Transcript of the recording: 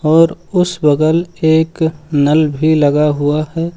और उस बगल एक नल भी लगा हुआ है।